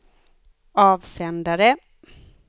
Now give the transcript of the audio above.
avsändare